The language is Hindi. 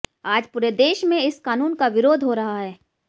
आज पूरे देश में इस कानून का विरोध हो रहा है